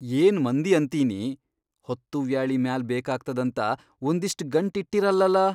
ಏನ್ ಮಂದಿ ಅಂತೀನಿ ಹೊತ್ತುವ್ಯಾಳಿ ಮ್ಯಾಲ್ ಬೇಕಾಗ್ತದಂತ ಒಂದಿಷ್ಟ್ ಗಂಟಿಟ್ಟಿರಲ್ಲಲಾ.